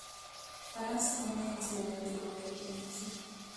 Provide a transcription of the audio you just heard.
Faras konyo e jiwo winjruok e kind ji